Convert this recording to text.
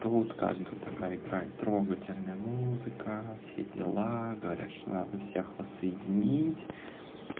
тут как бы такая играет трогательная музыка все дела говорят что надо всех воссоединить